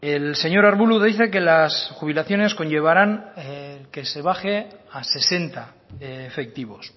el señor arbulo dice que las jubilaciones conllevarán que se baje a sesenta efectivos